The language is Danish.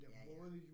Ja ja